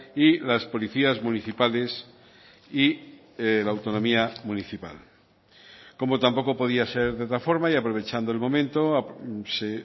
y las policías municipales y la autonomía municipal como tampoco podía ser de otra forma y aprovechando el momento se